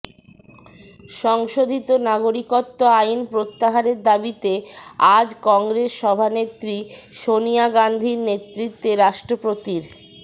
সংশোধিত নাগরিকত্ব আইন প্রত্যাহারের দাবিতে আজ কংগ্রেস সভানেত্রী সনিয়া গাঁধীর নেতৃত্বে রাষ্ট্রপতির